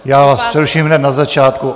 Já vás přeruším hned na začátku.